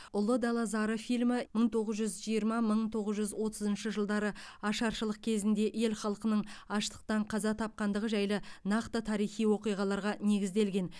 ұлы дала зары фильмі мың тоғыз жүз жиырма мың тоғыз жүз отызыншы жылдары ашаршылық кезінде ел халқының аштықтан қаза тапқандығы жайлы нақты тарихи оқиғаларға негізделген